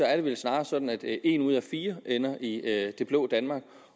er det vel snarere sådan at en ud af fire ender i det blå danmark